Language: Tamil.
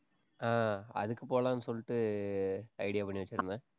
ஆஹ் அதுக்கு போலான்னு சொல்லிட்டு idea பண்ணி வெச்சிருந்தேன்